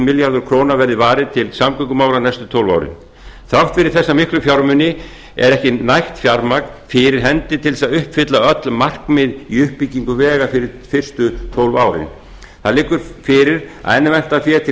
milljarður króna verði varið til samgöngumála næstu tólf árin þrátt fyrir þessa miklu fjármuni er ekki nægt fjármagn fyrir hendi til að uppfylla öll markmið í uppbyggingu vega fyrir fyrstu tólf árin það liggur fyrir að enn vantar fé til